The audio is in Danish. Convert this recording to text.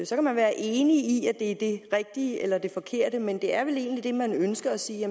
så kan man være enig i at det er det rigtige eller at det forkerte men det er vel egentlig det man ønsker at sige